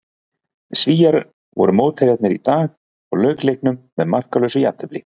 Svíar voru mótherjarnir í dag og lauk leiknum með markalausu jafntefli.